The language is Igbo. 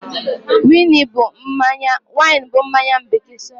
Wine bụ mmanya bekee.